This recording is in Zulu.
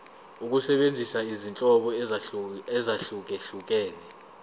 ukusebenzisa izinhlobo ezahlukehlukene